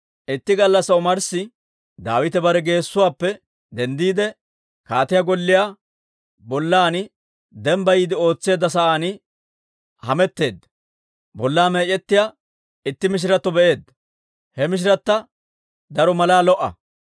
Itti gallassaa omarssi Daawite bare gisuwaappe denddiide, kaatiyaa golliyaa bollan dembbayiide ootseedda sa'aan hametteedda; bollaa meec'ettiyaa itti mishiratto be'eedda; he mishirata daro malaa lo"a.